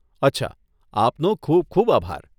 અચ્છા, આપનો ખૂબ ખૂબ આભાર.